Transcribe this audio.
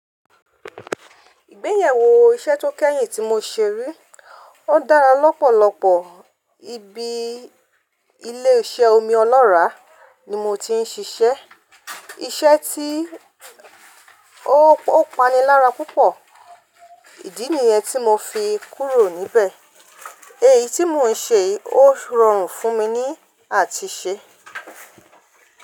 Ìgbéyàwó iṣẹ́ tó kẹ́yìn tí mo ṣe rí, ó dára lọ́pọ̀lọpọ̀. Ibi ilé iṣẹ́ omi ọlọ́ràá ni mo ti ń ṣiṣẹ́. Iṣẹ́ tí ó panilára púpọ̀, ìdí nìyẹn tí mo fi kúrò níbẹ̀. Èyí tí mò ń ṣe yìí ó rọrùn fún mi ní àtise.